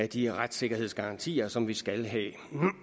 de retssikkerhedsgarantier som vi skal have